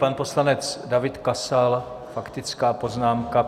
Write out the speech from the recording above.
Pan poslanec David Kasal, faktická poznámka.